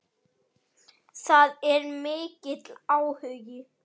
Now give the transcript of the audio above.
Það er mikill áhugi.